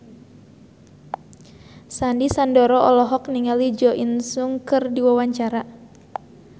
Sandy Sandoro olohok ningali Jo In Sung keur diwawancara